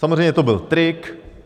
Samozřejmě to byl trik.